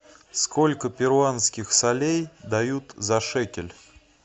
сколько перуанских солей дают за шекель